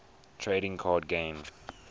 trading card game